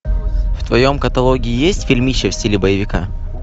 в твоем каталоге есть фильмище в стиле боевика